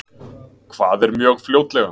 Hvað er mjög fljótlega?